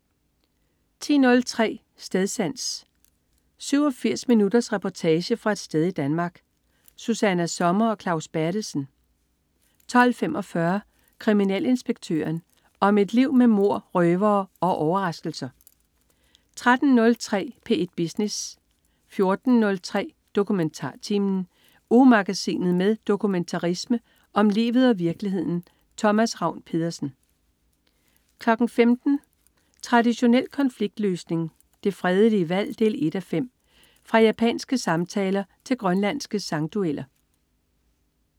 10.03 Stedsans. 87 minutters reportage fra et sted i Danmark. Susanna Sommer og Claus Berthelsen 12.45 Kriminalinspektøren. Om et liv med mord, røvere og overraskelser 13.03 P1 Business 14.03 DokumentarTimen. Ugemagasinet med dokumentarisme om livet og virkeligheden. Thomas Ravn-Pedersen 15.00 Traditionel konfliktløsning. Det fredelige valg 1:5. Fra japanske samtaler til grønlandske sangdueller